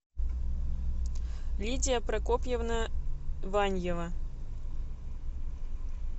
лидия прокопьевна ваньева